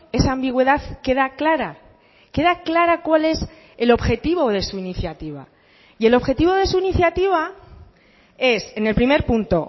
esa ambigüedad queda clara queda clara cuál es el objetivo de su iniciativa y el objetivo de su iniciativa es en el primer punto